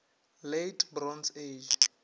late bronze age